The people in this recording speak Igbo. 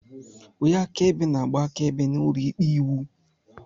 Onye akaebe na-agba akaebe n'ụlọikpe iwu.